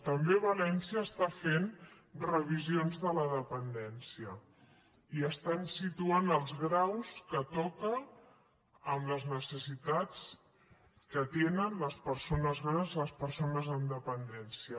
també valència està fent revisions de la dependència i estan situant els graus que toca amb les necessitats que tenen les persones grans les persones amb dependència